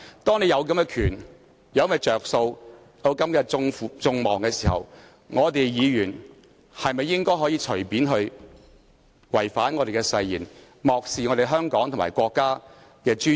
當擁有這些權力、利益，以及背負眾人的期望時，議員應否隨便違反本身的誓言，漠視香港和國家的尊嚴？